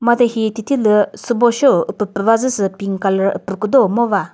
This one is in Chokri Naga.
made hihi thüthilü sübo sho pü küva zü sü pink colour upü küdo ngo va.